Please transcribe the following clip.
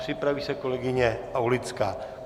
Připraví se kolegyně Aulická.